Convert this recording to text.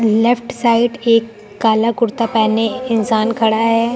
Left side एक काला कुर्ता पहने इंसान खड़ा हैं।